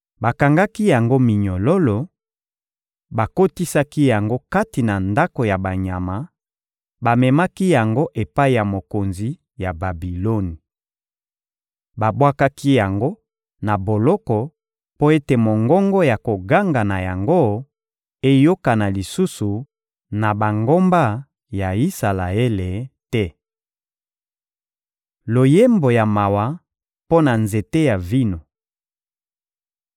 Bakangaki yango minyololo, bakotisaki yango kati na ndako ya banyama, bamemaki yango epai ya mokonzi ya Babiloni. Babwakaki yango na boloko mpo ete mongongo ya koganga na yango eyokana lisusu na bangomba ya Isalaele te. Loyembo ya mawa mpo na nzete ya vino